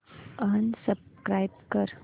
unsubscribe कर